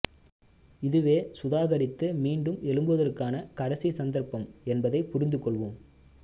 இதுவே சுதாகரித்து மீண்டும் எழும்புவதற்கான கடைசி சந்தர்ப்பம் என்பதனை புரிந்து கொள்வோம்